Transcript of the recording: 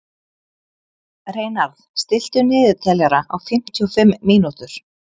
Reynarð, stilltu niðurteljara á fimmtíu og fimm mínútur.